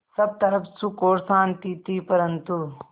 सब तरफ़ सुख और शांति थी परन्तु